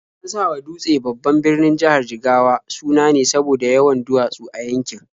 An sawa Dutse, babban birnin jihar Jigawa, suna ne saboda yawan duwatsu a yankin.